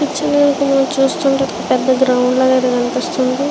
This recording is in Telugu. ఈ పిక్చర్ ని మనం చూస్తుంటే మాత్రం ఏదో ఒక పెద్ద గ్రౌండ్ లాగా కనిపిస్తుంది.